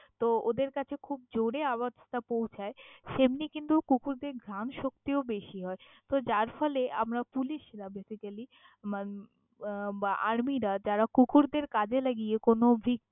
তহ ওদের কাছে খুব জোরে আওয়াজ টা পৌছাই, সেম্নি কিন্তু কুকুরদের ঘ্রান শক্তিও বেশী হয়। তহ যার ফলে আমারা পুলিশরা basically উম আহ Army যারা কুকুরদের কাজে লাগিয়ে কোনও ভিক।